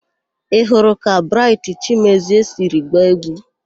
Ị hụrụ ka Braịtị Chimezie siri gbaa égwú?